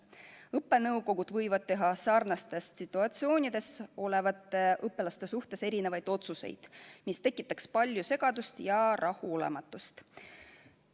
Õppenõukogud võivad teha sarnastes situatsioonides olevate õpilaste suhtes erinevaid otsuseid, mis tekitaks palju segadust ja rahulolematust.